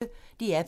DR P1